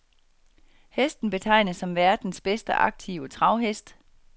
Hesten betegnes som verdens bedste aktive travhest.